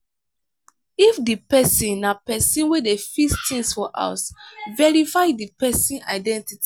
if di person na person wey dey fis things for house verify di person identity